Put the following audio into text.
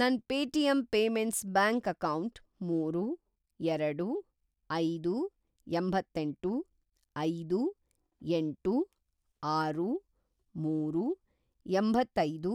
ನನ್‌ Paytm payments bank account ಮೂರು, ಎರಡು, ಐದು, ಎಂಬತ್ತೇಂಟು, ಐದು, ಏಂಟು, ಆರು, ಮೂರು, ಎಂಬತ್ತೈದು